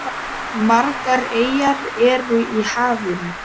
Margar eyjar eru í hafinu.